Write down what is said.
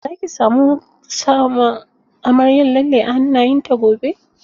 Za ki samu sama amaryar lalle a hannayen ta gobe?